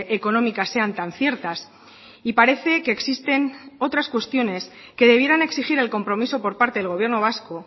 económicas sean tan ciertas y parece que existen otras cuestiones que debieran exigir el compromiso por parte del gobierno vasco